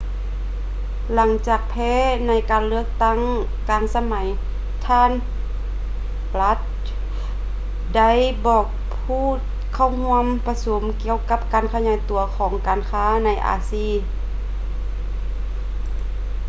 ຫຼັງຈາກແພ້ໃນການເລືອກຕັ້ງກາງສະໄໝ ທ່ານ bush ໄດ້ບອກຜູ້ເຂົ້າຮ່ວມປະຊຸມກ່ຽວກັບການຂະຫຍາຍຕົວຂອງການຄ້າໃນອາຊີ